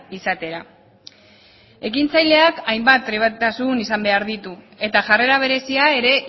izatera ekintzaileak hainbat trebetasun izan behar ditu eta jarrera berezia ere